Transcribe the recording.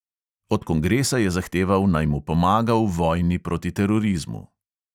Od kongresa je zahteval, naj mu pomaga v vojni proti terorizmu.